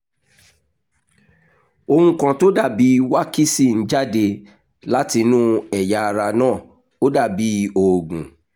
ohun kan tó dàbí wákísì ń jáde látinú ẹ̀yà ara náà ó dàbí òógùn